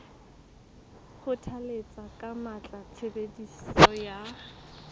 kgothalletsa ka matla tshebediso ya